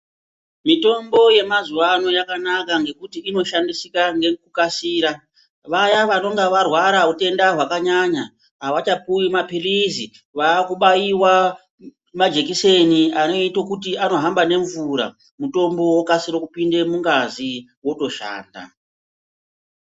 Mitombo yema zuvaano ,yakanaka nekuti inoshandisike nekukasira, vaya vanenge varwara nehutenda hwakanyanya havachapuwa mapirisi, vaakubaiwa majekiseni anoite kuti anohamba nemvura mutombo wokasire kupinde mungazi wotoshanda.